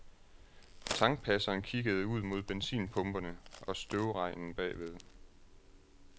Tankpasseren kiggede ud mod benzinpumperne og støvregnen bagved.